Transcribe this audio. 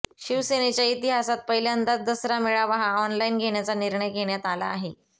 शिवसेनेच्या इतिहासात पहिल्यांदाच दसरा मेळावा हा ऑनलाईन घेण्याचा निर्णय घेण्यात आला आहे